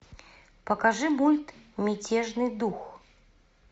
покажи мульт мятежный дух